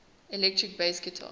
electric bass guitar